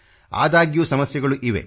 ಆದಾಗ್ಯೂ ಸಮಸ್ಯೆಗಳು ಇವೆ